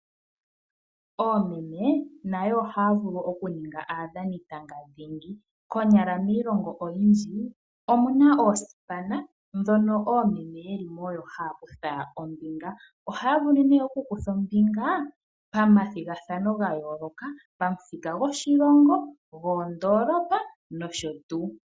Oomeme nayo ohaya vulu okuninga aadhanitanga dhingi. Konyala miilongo oyindji omuna oosipana ndhono oomeme yeli mo oyo haya kutha ombinga. Ohaya vulu nee okukutha ombinga pamathigathano gayooloka pamuthika goshilongo, goondoolopa nosho tuu.